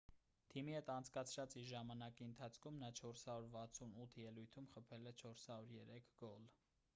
թիմի հետ անցկացրած իր ժամանակի ընթացքում նա 468 ելույթում խփել է 403 գոլ